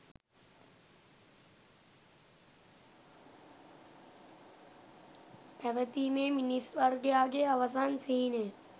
පැවතීමේ මිනිස් වර්ගයාගේ අවසන් සිහිනය